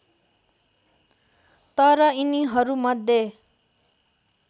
तर यिनीहरू मध्ये